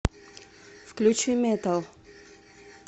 включи метал